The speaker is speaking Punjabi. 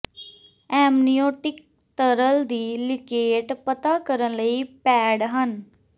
ਐਮਨਿਓਟਿਕ ਤਰਲ ਦੀ ਲੀਕੇਟ ਪਤਾ ਕਰਨ ਲਈ ਪੈਡ ਹਨ